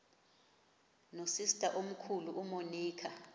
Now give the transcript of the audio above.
nosister omkhulu umonica